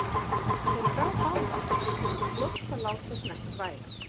Þeim brá báðum, en tókst fljótt að láta sem ekkert væri.